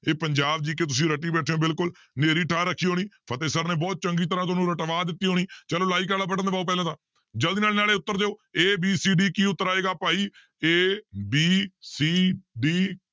ਇਹ ਪੰਜਾਬ GK ਤੁਸੀਂ ਰੱਟੀ ਬੈਠੇ ਹੋ ਬਿਲਕੁਲ ਹਨੇਰੀ ਉੱਠਾ ਰੱਖੀ ਹੋਣੀ ਫਤਿਹ sir ਨੇ ਬਹੁਤ ਚੰਗੀ ਤਰ੍ਹਾਂ ਤੁਹਾਨੂੰ ਰਟਵਾ ਦਿੱਤੀ ਹੋਣੀ ਚਲੋ like ਵਾਲਾ button ਦਬਾਓ ਪਹਿਲਾਂ ਤਾਂ ਜ਼ਲਦੀ ਨਾਲ ਨਾਲੇ ਉੱਤਰ ਦਿਓ a b c d ਕੀ ਉੱਤਰ ਆਏਗਾ ਭਾਈ a b c d